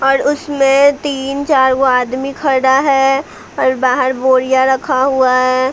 और उसमें तीन चार वो आदमी खड़ा है और बाहर बोरिया रखा हुआ है।